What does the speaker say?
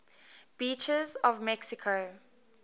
beaches of mexico